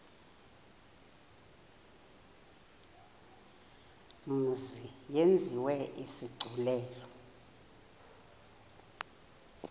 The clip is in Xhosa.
mzi yenziwe isigculelo